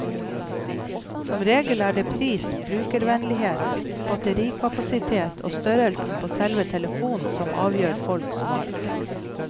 Som regel er det pris, brukervennlighet, batterikapasitet og størrelsen på selve telefonen som avgjør folks valg.